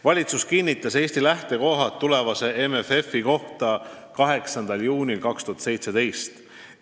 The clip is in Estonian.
Valitsus kinnitas Eesti lähtekohad seoses tulevase MFF-iga – see on lühend ingliskeelsest nimetusest Multiannual Financial Framework – 8. juunil 2017.